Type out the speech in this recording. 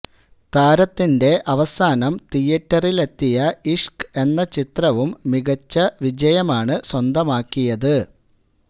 താരത്തിന്റെ അവസാനം തീയറ്ററിലെത്തിയ ഇഷ്ക് എന്ന ചിത്രവും മികച്ച വിജയമാണ് സ്വന്തമാക്കിയത്